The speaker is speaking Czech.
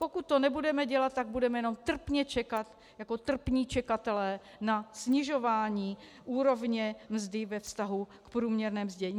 Pokud to nebudeme dělat, tak budeme jenom trpně čekat jako trpní čekatelé na snižování úrovně mzdy ve vztahu k průměrně mzdě.